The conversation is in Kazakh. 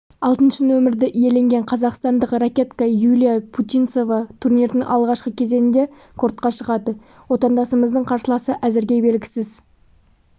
алтыншы нөмірді иеленген қазақстандық ракетка юлия путинцева турнирдың алғашқы кезеңінде кортқа шығады отандасымыздың қарсыласы әзірге белгісіз